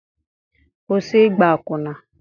Kwụsị ịgba akwụna!